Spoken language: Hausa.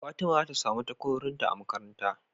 fatima zata samu takwarorinta a makaranta